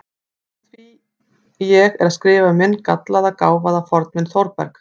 Úr því ég er að skrifa um minn gallaða, gáfaða fornvin Þórberg